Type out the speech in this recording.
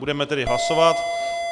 Budeme tedy hlasovat.